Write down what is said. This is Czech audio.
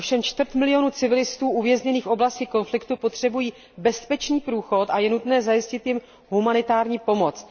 Ovšem čtvrt milionu civilistů uvězněných v oblasti konfliktu potřebují bezpečný průchod a je nutné zajistit jim humanitární pomoc.